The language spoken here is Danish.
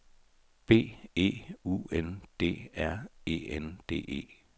B E U N D R E N D E